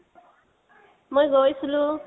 মই গৈছিলো